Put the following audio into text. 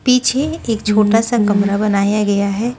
पीछे एक छोटा सा कमरा बनाया गया है।